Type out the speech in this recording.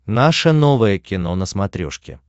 наше новое кино на смотрешке